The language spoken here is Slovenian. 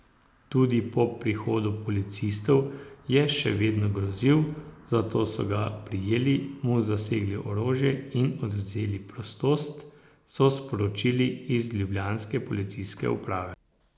Tudi po prihodu policistov je še vedno grozil, zato so ga prijeli, mu zasegli orožje in odvzeli prostost, so sporočili iz ljubljanske policijske uprave.